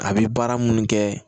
A bɛ baara minnu kɛ